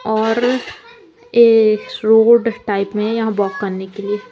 और ये road type में यहां वॉक करने के लिए--